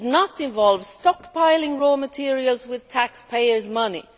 It should not involve stockpiling raw materials with taxpayers' money.